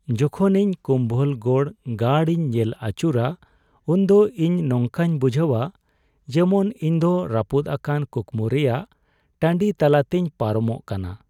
ᱡᱚᱠᱷᱚᱱ ᱤᱧ ᱠᱩᱢᱵᱷᱚᱞᱜᱚᱲ ᱜᱟᱲ ᱤᱧ ᱧᱮᱞ ᱟᱹᱪᱩᱨᱟ ᱩᱱᱫᱚ ᱤᱧ ᱱᱚᱝᱠᱟᱧ ᱵᱩᱡᱷᱟᱹᱣᱟ ᱡᱮᱢᱚᱱ ᱤᱧᱫᱚ ᱨᱟᱹᱯᱩᱫ ᱟᱠᱟᱱ ᱠᱩᱠᱢᱩ ᱨᱮᱭᱟᱜ ᱴᱟᱺᱰᱤ ᱛᱟᱞᱟᱛᱤᱧ ᱯᱟᱨᱚᱢᱚᱜ ᱠᱟᱱᱟ ᱾